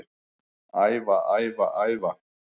Æfa, æfa, æfa